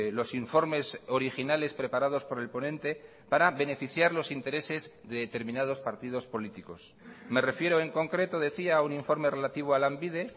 los informes originales preparados por el ponente para beneficiar los intereses de determinados partidos políticos me refiero en concreto decía a un informe relativo a lanbide